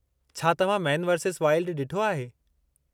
छा तव्हां Man versus Wild ॾिठो आहे।